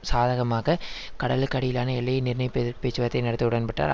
சாதகமாக கடலுக்கு அடியிலான எல்லையை நிர்ணயிப்பதற்கு பேச்சுவார்த்தை நடத்த உடன்பட்டார்